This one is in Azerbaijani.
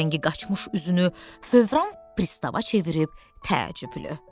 Rəngi qaçmış üzünü fövran pristava çevirib təəccüblü.